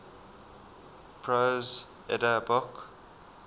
prose edda book